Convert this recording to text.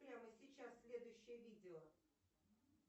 прямо сейчас следующее видео